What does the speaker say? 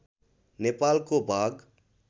नेपालको भाग